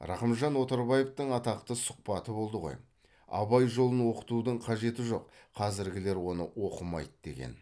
рақымжан отарбаевтың атақты сұхбаты болды ғой абай жолын оқытудың қажеті жоқ қазіргілер оны оқымайды деген